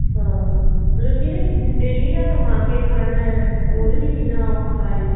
ਹਾਂ ਮਤਲਬ ਜਿਹਨੇ daily ਦਾ ਕਮਾ ਕੇ ਖਾਣਾ ਉਹਦੇ ਕਿੰਨਾ ਔਖਾ ਏ